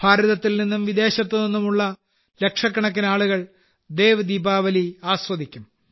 ഭാരതത്തിൽനിന്നും വിദേശത്തു നിന്നുമുള്ള ലക്ഷക്കണക്കിന് ആളുകൾ ദേവ് ദീപാവലി ആസ്വദിക്കും